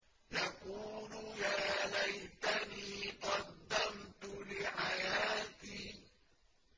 يَقُولُ يَا لَيْتَنِي قَدَّمْتُ لِحَيَاتِي